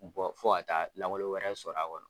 fo ka taa lawaleli wɛrɛ sɔrɔ a kɔnɔ.